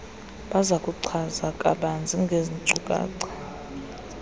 bazakuchaza kabanzi ngeezinkcukacha